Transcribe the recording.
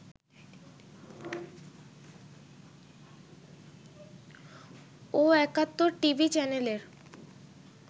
ও Ekattor TV চ্যানেলের